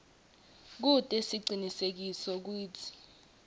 kute sicinisekise kutsi